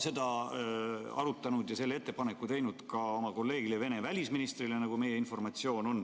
Te olete meie informatsiooni kohaselt seda arutanud ja teinud selle ettepaneku ka oma kolleegile Vene välisministrile.